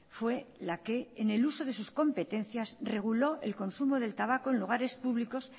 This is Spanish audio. fue la que en el uso de sus competencias reguló el consumo del tabaco en lugares públicos